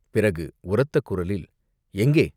பிறகு, உரத்த குரலில், "எங்கே?